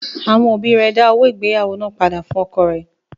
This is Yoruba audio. Àwọn òbí rẹ̀ dá owó ìgbéyàwó náà padà fún ọkọ rẹ̀.